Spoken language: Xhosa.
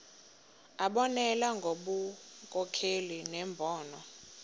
abonelele ngobunkokheli nembono